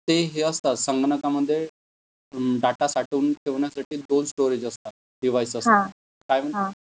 ते हे असतात संगणका मध्ये डाटा साठवून ठेवण्यासाठी दोन स्टोरेज असतात. डीवाईस असतात. काय म्हणतात